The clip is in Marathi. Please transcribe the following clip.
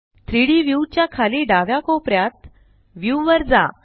3डी व्यू च्या खाली डाव्या कोपर्यात व्ह्यू वर जा